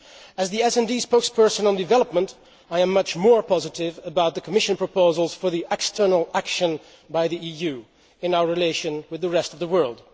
As the SD spokesperson on development, I am much more positive about the Commission proposals for the external action by the EU in our relations with the rest of the world.